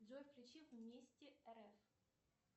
джой включи вместе рф